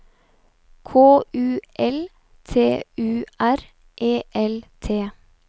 K U L T U R E L T